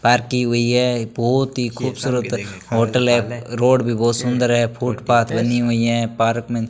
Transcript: Park की हुई है बहुत ही खूबसूरत होटल है रोड भी बहुत सुंदर है फुटपाथ बनी हुई है पार्क में।